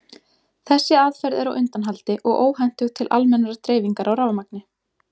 Þessi aðferð er á undanhaldi og óhentug til almennrar dreifingar á rafmagni.